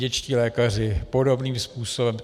Dětští lékaři podobným způsobem.